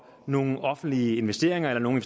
nogle offentlige investeringer eller nogle